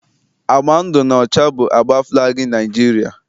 Agba ndụ na ọcha bụ agba falgi Niajiria